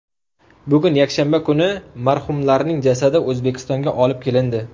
Bugun, yakshanba kuni marhumlarning jasadi O‘zbekistonga olib kelindi.